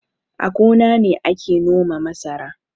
A gona ne ake noma masara